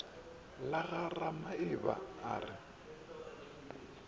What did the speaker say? la ga ramaeba a re